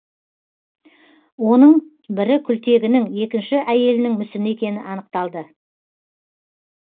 оның бірі күлтегінің екінші әйелінің мүсіні екені анықталды